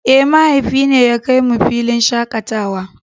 Eh mahaifi ne ya kai mu filin shakatawa.